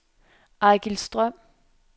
Eigil Strøm